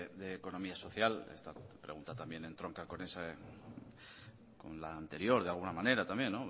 de economía social esta pregunta también entronca con la anterior de alguna manera también